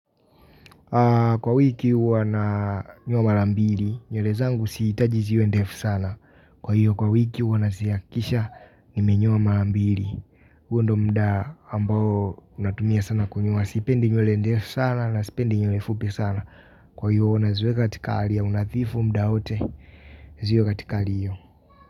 Kwa wiki huwana nyoa marambili nywele zangu siitaji ziwe ndefu sana. Kwa hiyo kwa wiki huwa na ziakisha nime nyoa mara mbili huo ndo mda ambao natumia sana kunyoa. Sipendi nywele ndefu sana na sipendi nywele fupi sana. Kwa hiyo na iwe katika hali ya unathifu mda wote ziwe katika alio.